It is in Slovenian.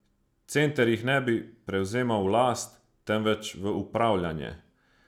Center jih ne bi prevzemal v last, temveč v upravljanje.